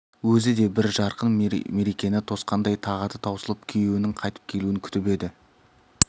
өзі де бір жарқын мерекені тосқандай тағаты таусылып күйеуінің қайтып келуін күтіп еді